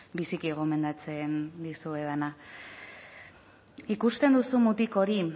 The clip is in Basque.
biziki gomendatzen dizuedana ikusten duzu mutiko hori